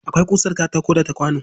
Akwai ƙusar katako da ta kwano